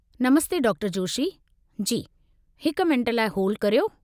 नमस्ते डॉ. जोशी। जी हिक मिंट लाइ होल्ड करियो।